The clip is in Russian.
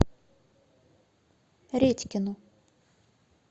редькину